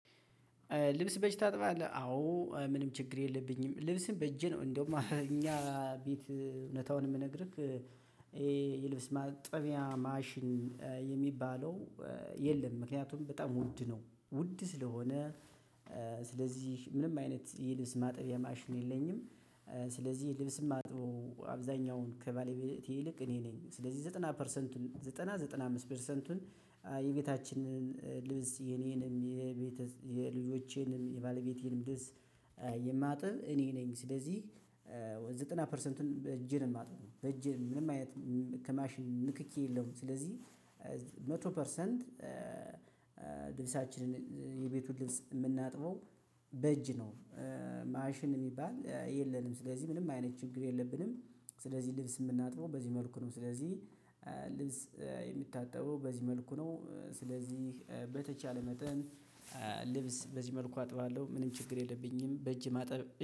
ልብስ በእጅ ታጥባለህ? አዎ ምንም ችግር የለብኝም። ልብስን በእጅ ነው እንደውም እኛ ቤት እውነታውን የምነግርህ ይሄ የልብስ ማጠቢያ ማሽን የሚባለው የለም ምክንያቱም በጣም ውድ ነው። ውድ ስለሆነ ስለዚህ ምንም አይነት ይሄ ልብስ ማጥቢያ ማሽን የለኝም። ስለዚህ ልብስ ማጥበው አብዛኛውን በባለቤቴ ይልቅ እኔ ነኝ። ስለዚህ ዘጠና ፐርሰንት ዘጠና ዘጠና አምስት ፐርሰንቱን የቤታችንን ልብስ የኔንም የቤት የልጆቼንም የባለቤቴንም ደስ የማጥብ እኔ ነኝ። ስለዚህ ወይ ዘጠና ፐርሰንቱን በእጄ ነው የማጥብ በእጅን ምንም አይነት ከማሽን ንክኪ የለውም። ስለዚህ መቶ ፐርሰንት ልብሳችን የምናጥፈው በእጅ ነው። ማሽን የሚባል የለንም ስለዚህ ምንም አይነት ችግር የለብንም። ስለዚህ ልብስ የምናጥበው በዚህ መልኩ ነው። ስለዚህ ልብስ የሚታጠበው በዚህ መልኩ ነው። ስለዚህ በተቻለ መጠን ልብስ በዚህ መልኩ አጥባለሁ ምንም ችግር የለብኝም። በእጅ ማጠብ